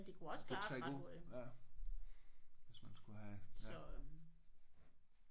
Det kunne trække ud ja hvis man skulle have ja